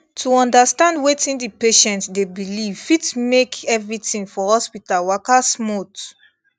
to understand wetin di patient dey believe fit make everything for hospital waka smooth